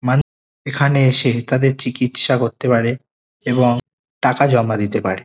মানু এখানে এসে তাদের চিকিৎসা করতে পারে এবং টাকা জমা দিতে পারে।